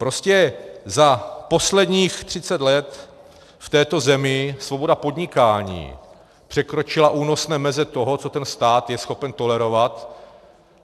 Prostě za posledních třicet let v této zemi svoboda podnikání překročila únosné meze toho, co ten stát je schopen tolerovat.